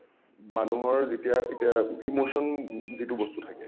মানুহৰ যেতিয়া এতিয়া emotion যিটো বস্তু থাকে